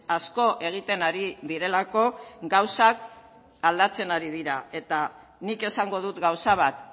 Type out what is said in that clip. asko egiten ari direlako gauzak aldatzen ari dira eta nik esango dut gauza bat